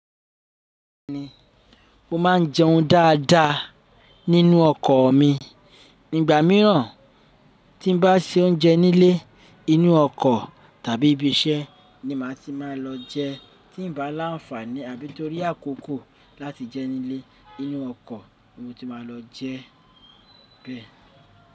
Mo máa ń jẹun dáadáa nínú ọkọ̀ mi. Nígbà míràn tí n bá se oúnjẹ nílé, inú ọkọ̀ tàbí ibi iṣẹ́ ni màá ti máa lọ jẹ. Tí n bá láǹfààní àbí torí àkókò láti jẹ nílé, inú ọkọ̀ ni mo ti máa lọ jẹ bẹ́ẹ̀.